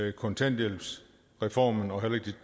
at kontanthjælpsreformen og